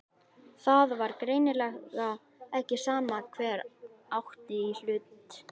Það var greinilega ekki sama hver átti í hlut.